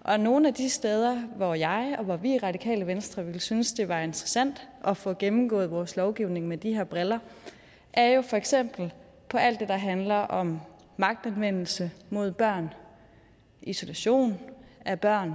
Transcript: og nogle af de steder hvor jeg og vi i radikale venstre ville synes det var interessant at få gennemgået vores lovgivning med de her briller er jo for eksempel alt det der handler om magtanvendelse mod børn isolation af børn